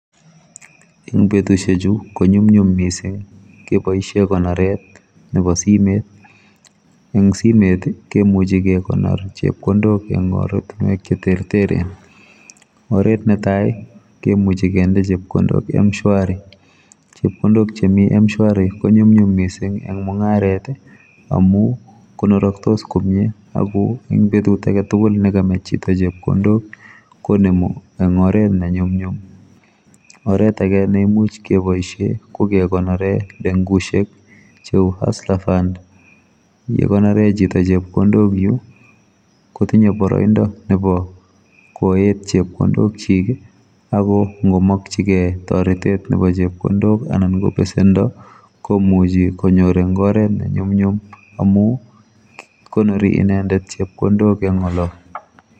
eng betusiechu konyumnyum mising keboisie konoret nebosimet eng simet kemuchi kekonor chepkondok eng ortinwek cheterteren oret netai kemuchi kende chepkondok mshwari chepkondok chemi mshwari konyumnyum mising eng mungaret amu konoraktos komye ako ing betut aketugul nekamach chito chepkondok konemu eng oret nenyumnyum oret age neimuch keboisie kokekonore lengusiek cheu hustler fund yekonore chito chepkondok yu kotinye boroindo nebo koet chepkondokchik akongomakyingei toretet nebo chepkondok anan kobesendo komuchi konyor eng oret nennyumnyum amu konori inendet chepkondok eng olo